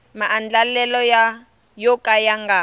maandlalelo yo ka ya nga